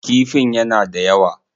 Kifin yana da yawa.